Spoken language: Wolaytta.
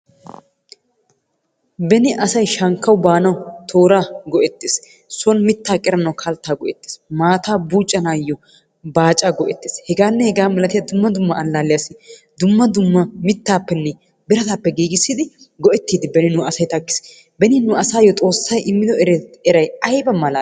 Beni asay shankkaw baanaw toora go"ettees. Soon mitta qeranaw kaltta go"ettees. Maataa buccanaw baacaa go"ettees. Hegaanne hega malatiyaa dumma dumma allaalliyaassi dumma dumma mittaappenne birataappe giigissidi go"ettiiddi nu asay takkis. Beni nu asaayyo Xoossay immido eray ayba malaali!